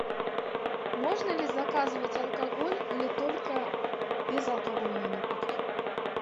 можно ли заказывать алкоголь или только безалкогольные напитки